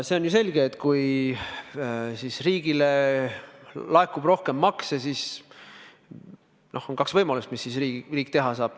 See on ju selge, et kui riigile laekub rohkem makse, siis on kaks võimalust, mis riik teha saab.